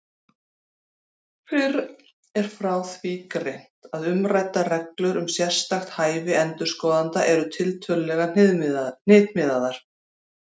Fyrr er frá því greint að umræddar reglur um sérstakt hæfi endurskoðenda eru tiltölulega hnitmiðaðar.